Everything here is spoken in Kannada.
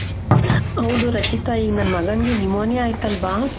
ಹೌದು ರಚಿತ ಈಗ್ ನನ್ ಮಗನಿಗೆ pneumonia ಆಯಿತಲ್ವಾ